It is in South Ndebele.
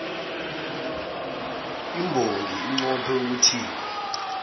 imbongi inqophe ukuthini